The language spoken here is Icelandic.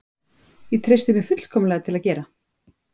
Ég treysti mér fullkomlega til að gera